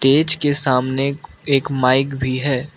के सामने एक एक माइक भी है।